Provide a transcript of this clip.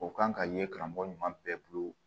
O kan ka ye karamɔgɔ ɲuman bɛɛ bolo